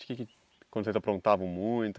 Quando vocês aprontavam muito?